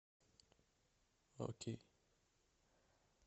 окей